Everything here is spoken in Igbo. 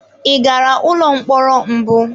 Ị gara ụlọ mkpọrọ mbụ?